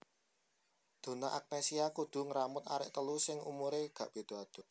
Donna Agnesia kudu ngramut arek telu sing umure gak bedo adoh